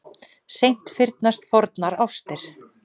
Seint fyrnast fornar ástir.